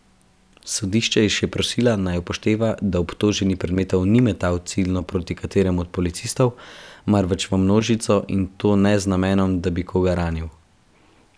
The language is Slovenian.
Sodišče je še prosila, naj upošteva, da obtoženi predmetov ni metal ciljno proti kateremu od policistov, marveč v množico, in to ne z namenom, da bi koga ranil.